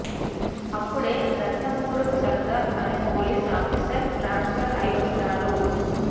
అప్పుడే రతన్పూర్కు సర్దార్ అనే పోలీస్ ఆఫీసర్ ట్రాన్సపర్ అయ్యి వస్తాడు